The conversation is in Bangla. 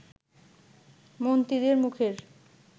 মন্ত্রীদের মুখের